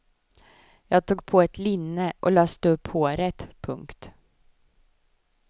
Jag tog på ett linne och löste upp håret. punkt